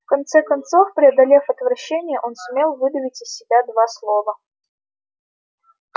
в конце концов преодолев отвращение он сумел выдавить из себя два слова